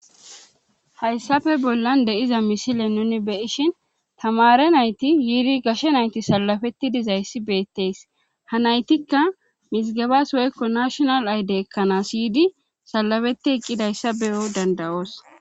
Hayssape bollan de7iza misile nuuni be7ishin tamaare nayti yiiri gashe nayti salafetti dizayssi beettes ha naytikka mizgebas woykko nashinal aydiya ekkanas yiidi salafetti eqqidayssa be7o dandda7oos.